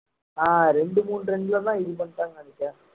அஹ் இரண்டு மூணு run ல தான் இது பண்ணிட்டான்னு நினைச்சேன்